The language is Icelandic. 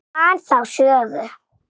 Ég man þá sögu.